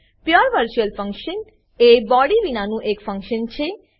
પુરે virtual function pure virtual function એ body body વિનાનું એક ફંક્શન છે